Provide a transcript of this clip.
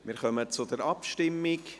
Wir kommen zur Abstimmung.